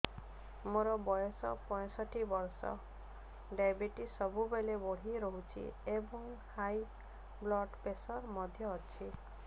ମୋର ବୟସ ପଞ୍ଚଷଠି ବର୍ଷ ଡାଏବେଟିସ ସବୁବେଳେ ବଢି ରହୁଛି ଏବଂ ହାଇ ବ୍ଲଡ଼ ପ୍ରେସର ମଧ୍ୟ ଅଛି